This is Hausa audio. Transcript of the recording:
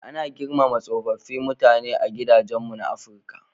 Ana girmama tsofaffin mutane a gidajenmu na Afrika.